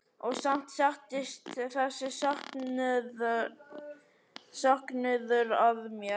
Og samt settist þessi söknuður að mér.